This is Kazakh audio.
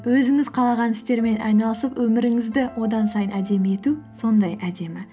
өзіңіз қалаған істермен айналысып өміріңізді одан сайын әдемі ету сондай әдемі